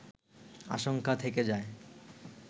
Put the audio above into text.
আশঙ্কা থেকে যায়